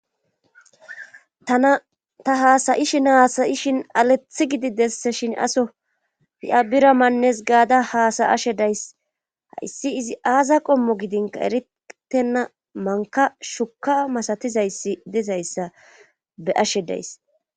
ta haasayishin haasayishin alethi gididesse shin aso i7abira mannes gaada haasayashe days hayssi izi aaza qommo gidinka eritenna manka shuka masatizayssi dizayssa be ashe days